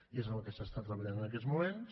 i és en el que s’està treballant en aquests moments